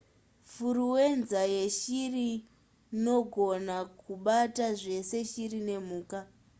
furuwenza yeshiri nogona kubata zvese shiri nemhuka